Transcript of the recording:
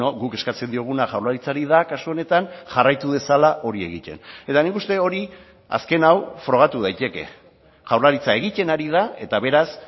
guk eskatzen dioguna jaurlaritzari da kasu honetan jarraitu dezala hori egiten eta nik uste dut hori azken hau frogatu daiteke jaurlaritza egiten ari da eta beraz